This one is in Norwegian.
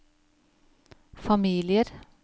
familier